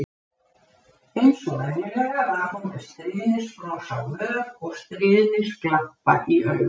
Eins og venjulega var hún með stríðnisbros á vör og stríðnisglampa í augum.